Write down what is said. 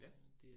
Ja